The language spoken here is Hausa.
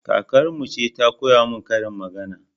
Kakarmu ce ta koya min karin magana